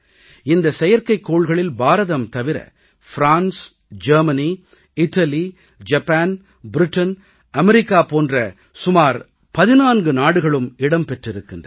இந்த செயற்கைக்கோள்களில் பாரதம் தவிர France Germany Italy Japan Britain America போன்று சுமார் 14 நாடுகளும் இடம் பெற்றிருக்கின்றன